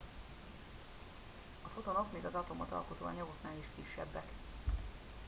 a fotonok még az atomot alkotó anyagoknál is kisebbek